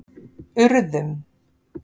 Urðum